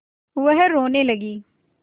वह रोने लगी